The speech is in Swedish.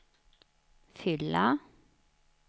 fylla